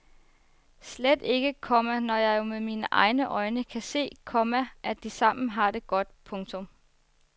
Slet ikke, komma når jeg jo med mine egne øjne kan se, komma at de sammen har det godt. punktum